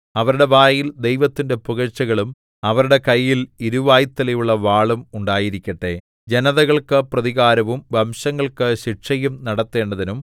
അവരുടെ വായിൽ ദൈവത്തിന്റെ പുകഴ്ചകളും അവരുടെ കയ്യിൽ ഇരുവായ്ത്തലയുള്ള വാളും ഉണ്ടായിരിക്കട്ടെ ജനതകൾക്കു പ്രതികാരവും വംശങ്ങൾക്കു ശിക്ഷയും നടത്തേണ്ടതിനും